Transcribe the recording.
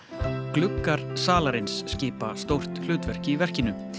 gluggar salarins skipa stórt hlutverk í verkinu